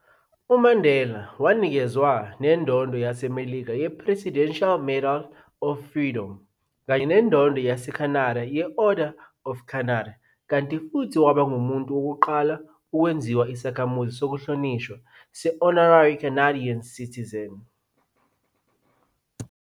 UMandela wanikezwa nendondo yaseMelika ye-Presidential Medal of Freedom kanye nendondo yase-Canada ye-Order of Canada, kanti futhi waba ngumuntu wokuqala ukwenziwa isakhamuzi sokuhlonishwa se-honorary Canadian citizen.